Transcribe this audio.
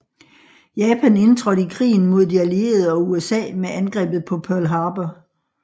Japan indtrådte i krigen mod de Allierede og USA med Angrebet på Pearl Harbor